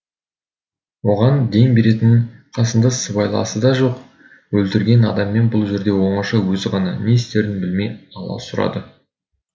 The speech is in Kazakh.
оған дем беретін қасында сыбайласы да жоқ өлтірілген адаммен бұл жерде оңаша өзі ғана не істерін білмей аласұрады